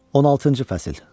16-cı fəsil.